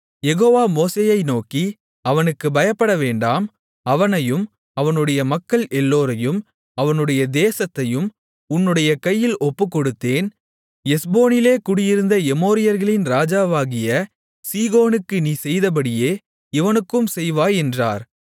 யெகோவா மோசேயை நோக்கி அவனுக்குப் பயப்படவேண்டாம் அவனையும் அவனுடைய மக்கள் எல்லோரையும் அவனுடைய தேசத்தையும் உன்னுடைய கையில் ஒப்புக்கொடுத்தேன் எஸ்போனிலே குடியிருந்த எமோரியர்களின் ராஜாவாகிய சீகோனுக்கு நீ செய்தபடியே இவனுக்கும் செய்வாய் என்றார்